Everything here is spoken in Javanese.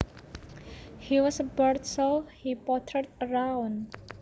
He was bored so he pottered around